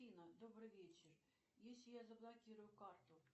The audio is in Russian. афина добрый вечер если я заблокирую карту